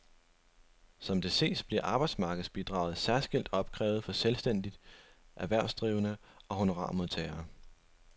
Som det ses bliver arbejdsmarkedsbidraget særskilt opkrævet for selvstændige erhvervsdrivende og honorarmodtagere.